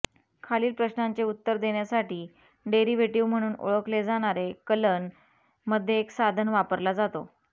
खालील प्रश्नाचे उत्तर देण्यासाठी डेरिव्हेटिव्ह म्हणून ओळखले जाणारे कलन मध्ये एक साधन वापरला जातो